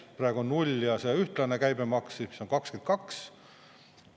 Praegu null ja ühtlane käibemaks, mis on 22.